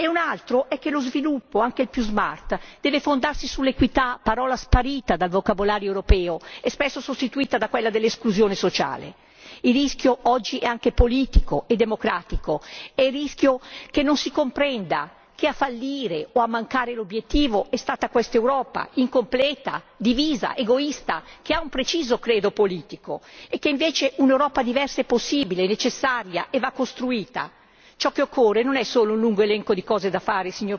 Riteniamo poi che lo sviluppo, anche il più smart debba fondarsi sull'equità parola sparita dal vocabolario europeo e spesso sostituita da quella dell'esclusione sociale. Il rischio che corriamo oggi, è anche politico e democratico, è di non comprendere che a fallire o a mancare l'obiettivo è stata quest'Europa incompleta, divisa ed egoista, con un preciso credo politico, mentre invece un'Europa diversa è possibile, necessaria e va costruita. Signor Presidente, ciò che occorre non è solo un lungo elenco di cose da fare,